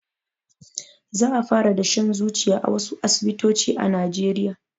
Za a fara dashen zuciya a wasu asibitoci a najeriya